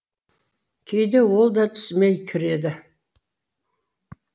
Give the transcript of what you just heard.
кейде ол да түсіме кіреді